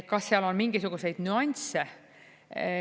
Kas seal on mingisuguseid nüansse?